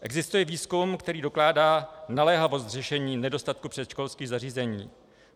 Existuje výzkum, který dokládá naléhavost řešení nedostatku předškolských zařízení.